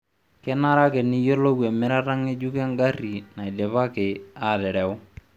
Kenare ake niyiolou emirata ngejuk engari naidipaki aatereu